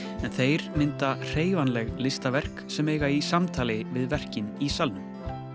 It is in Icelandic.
en þeir mynda hreyfanleg listaverk sem eiga í samtali við verkin í salnum